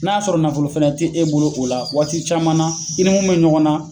N'a sɔrɔ nafolo fɛnɛ te e bolo o la waati caman na i ni mun be ɲɔgɔn na